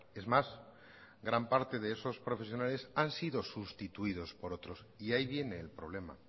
es más gran parte de esos profesionales han sido sustituidos por otros y ahí viene el problema